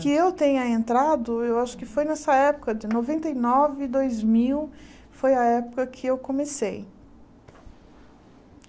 Que eu tenha entrado, eu acho que foi nessa época de noventa e nove, dois mil, foi a época que eu comecei.